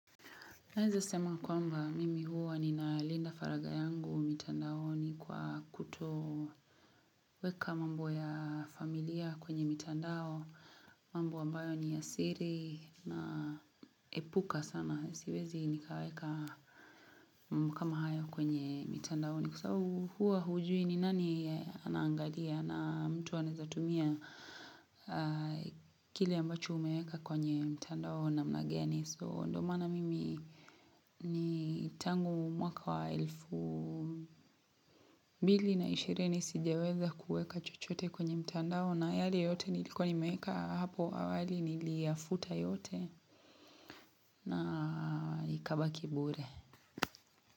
Naeza sema kwamba mimi huwa ninalinda faragha yangu mitandaoni kwa kutoweka mambo ya familia kwenye mitandao, mambo ambayo ni ya siri naepuka sana. Siwezi nikaweka mambo kama haya kwenye mitandaoni kwa sababu huwa hujui ni nani anaangalia na mtu anaeza tumia kile ambacho umeweka kwenye mtandao namna gani. So ndio maana mimi ni tangu mwaka wa elfu. Mbili na ishirini sijaweza kuweka chochote kwenye mtandao na yale yote nilikuwa nimeka hapo awali niliyafuta yote na ikawa kibure.